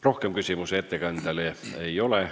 Rohkem küsimusi ettekandjale ei ole.